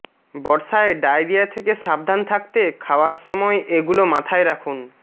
বর্ষায় ডায়রিয়া থেকে সাবধান থাকতে খাওয়ার সময় এগুলো মাথায় রাখুন